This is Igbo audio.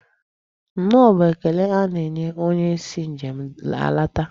Nnọọ bụ ekele a na-enye onye si njem alata.